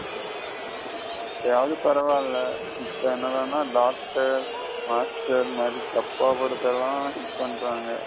அப்பயாவது பரவில்ல இபோ என்னடான doctor, master மாதிரி சப்ப படத்தள்ள hit பன்றாங்க.